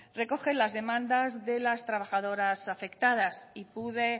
recogen las demandas de las trabajadoras afectadas y pude